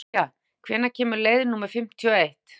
Avía, hvenær kemur leið númer fimmtíu og eitt?